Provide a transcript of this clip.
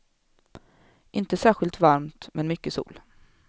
Inte särskilt varmt, men mycket sol.